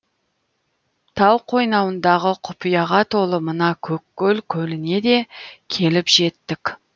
тау қойнауындағы құпияға толы мына көккөл көліне де келіп жеттік